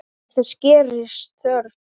Ef þess gerist þörf